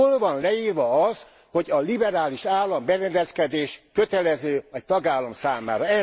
Hol van leírva az, hogy a liberális államberendezkedés kötelező egy tagállam számára.